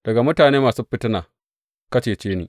Daga mutane masu fitina, ka cece ni.